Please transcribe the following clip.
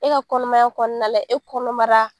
E ka kɔnɔmaya kɔnɔna la e kɔnɔnbara